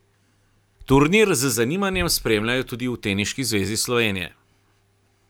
Turnir z zanimanjem spremljajo tudi v Teniški zvezi Slovenije.